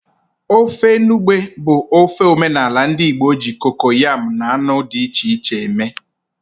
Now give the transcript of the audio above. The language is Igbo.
Ofe enugbe bụ ofe omenala ndị Igbo e ji kokoyam na anụ dị iche iche eme.